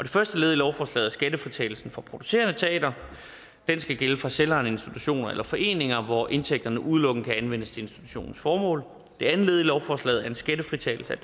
første led i lovforslaget er skattefritagelsen for producerende teatre den skal gælde for selvejende institutioner eller foreninger hvor indtægterne udelukkende kan anvendes til institutionens formål det andet led i lovforslaget er en skattefritagelse